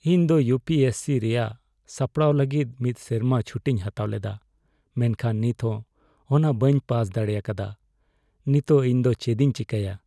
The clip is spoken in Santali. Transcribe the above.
ᱤᱧ ᱫᱚ ᱤᱭᱩ ᱯᱤ ᱮᱥ ᱥᱤ ᱨᱮᱭᱟᱜ ᱥᱟᱯᱲᱟᱣ ᱞᱟᱹᱜᱤᱫ ᱢᱤᱫ ᱥᱮᱨᱢᱟ ᱪᱷᱩᱴᱤᱧ ᱦᱟᱛᱟᱣ ᱞᱮᱫᱟ ᱢᱮᱱᱠᱷᱟᱱ ᱱᱤᱛᱦᱚᱸ ᱚᱱᱟ ᱵᱟᱹᱧ ᱯᱟᱥ ᱫᱟᱲᱮᱭᱟᱠᱟᱫᱟ ᱾ ᱱᱤᱛᱚᱜ ᱤᱧ ᱫᱚ ᱪᱮᱫᱤᱧ ᱪᱮᱠᱟᱭᱟ ?